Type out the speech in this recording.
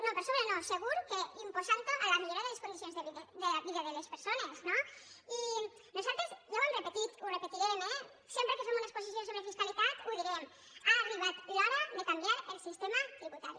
no per sobre no segur que imposant ho a la millora de les condicions de vida de les persones no i nosaltres ja ho hem repetit ho repetirem eh sempre que fem una exposició sobre fiscalitat ho direm ha arribat l’hora de canviar el sistema tributari